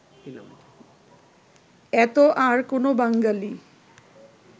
এত আর কোন বাঙ্গালী